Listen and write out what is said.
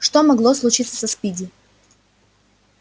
что могло случиться со спиди